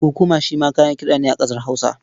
Kukuma shi ma kayan kiɗa ne a ƙasar Hausa.